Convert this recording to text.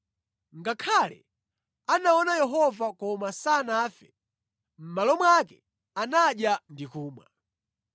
Ngakhale anaona Yehova koma sanafe, mʼmalo mwake anadya ndi kumwa.